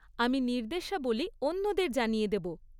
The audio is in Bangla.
আমি নির্দেশাবলী অন্যদের জানিয়ে দেব।